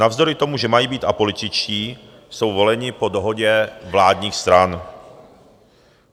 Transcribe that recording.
Navzdory tomu, že mají být apolitičtí, jsou voleni po dohodě vládních stran.